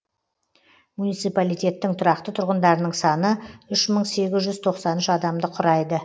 муниципалитеттің тұрақты тұрғындарының саны үш мың сегіз жүз тоқсан үш адамды құрайды